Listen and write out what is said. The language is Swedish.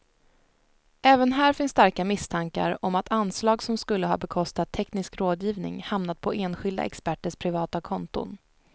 Även här finns starka misstankar om att anslag som skulle ha bekostat teknisk rådgivning hamnat på enskilda experters privata konton.